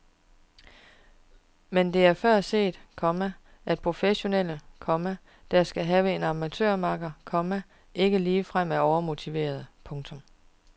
Men det er før set, komma at professionelle, komma der skal have en amatørmakker, komma ikke ligefrem er overmotiverede. punktum